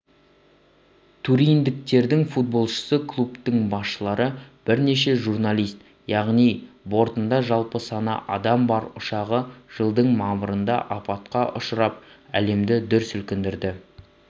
туриндіктердің футболшысы клубтың басшылары бірнеше журналист яғни бортында жалпы саны адам бар ұшағы жылдың мамырында апатқа ұшырап әлемді дүр сілкіндірді